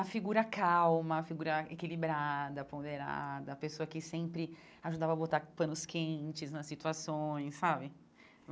A figura calma, a figura equilibrada, ponderada, a pessoa que sempre ajudava a botar panos quentes nas situações, sabe?